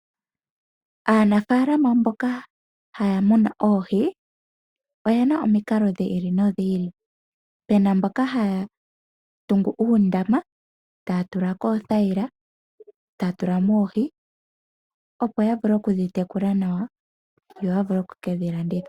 Aanafaalama mboka haya munu oohi, oyena omikalo dhi ili nodhi ili, puna mboka haya tungu uundama, taya tula ko oothaila , taya tula mo oohi opo ya vule oku dhi tekula nawa, yo ya vule oku kedhi landitha.